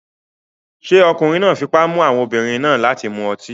Ṣé ọkùnrin náà fipá mú àwọn obìnrin náà láti mu ọtí?